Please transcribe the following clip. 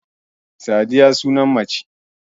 Sadiya sunan mace